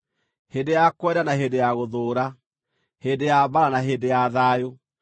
hĩndĩ ya kwenda na hĩndĩ ya gũthũũra, hĩndĩ ya mbaara na hĩndĩ ya thayũ.